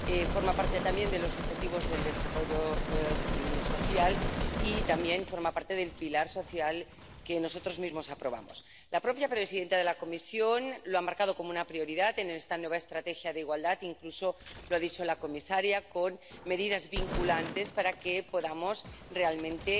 Forma parte también de los objetivos del desarrollo social y también forma parte del pilar social que nosotros mismos aprobamos. La propia presidenta de la Comisión lo ha marcado como una prioridad en esta nueva estrategia de igualdad ―incluso lo ha dicho la comisaria― con medidas vinculantes para que podamos realmente